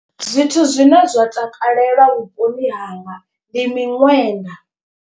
Zwithu zwine zwa takalelwa vhuponi hanga ndi miṅwenda.